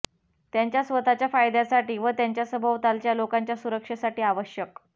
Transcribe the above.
त्यांच्या स्वतःच्या फायद्यासाठी व त्यांच्या सभोवतालच्या लोकांच्या सुरक्षेसाठी आवश्यक